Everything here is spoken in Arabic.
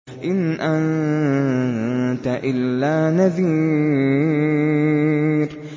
إِنْ أَنتَ إِلَّا نَذِيرٌ